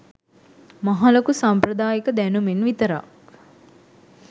මහලොකු සම්ප්‍රදායික දැනුමෙන් විතරක්?